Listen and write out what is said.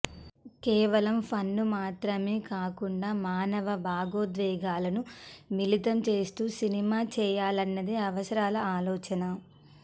కేవలం ఫన్ ను మాత్రమే కాకుండా మానవ భావోద్వేగాలను మిళితం చేస్తూ సినిమా చేయాలన్నది అవసరాల ఆలోచన